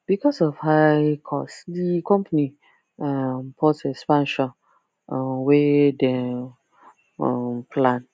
because of high cost di company um pause expansion um wey dem um plan